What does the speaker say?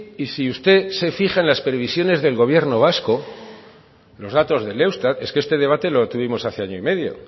y si usted se fija en las previsiones del gobierno vasco los datos del eustat es que este debate lo tuvimos hace año y medio